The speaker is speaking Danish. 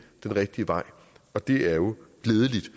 den rigtige vej og det er jo glædeligt